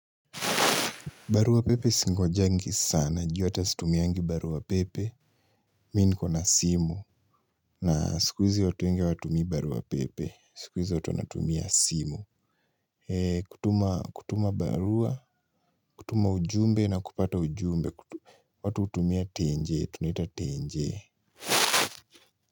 Barua pepe singojangi sana, ju hata situmiaangi barua pepe. Mimi niko na simu na siku hizi watu wenge hawatumii barua pepe. Sikuhizi watu wanatumia simu. Kutuma barua, kutuma ujumbe na kupata ujumbe. Watu hutumia tenjee, tunaita tenjee.